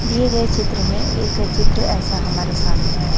दिए गए चित्र में एक चित्र ऐसा हमारे सामने आए--